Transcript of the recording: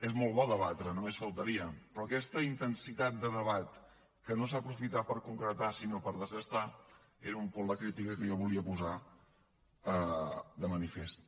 és molt bo debatre només faltaria però aquesta intensitat de debat que no s’ha aprofitat per concretar sinó per desgastar era un punt de critica que jo volia posar de manifest